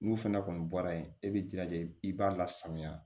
N'u fɛnɛ kɔni bɔra yen e bɛ jilaja i b'a lasanuya